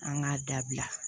An k'a dabila